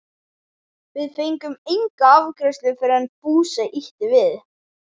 Við fengum enga afgreiðslu fyrr en Fúsi ýtti við